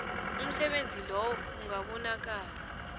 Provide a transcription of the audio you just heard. umsebenzi loyo ungabonakala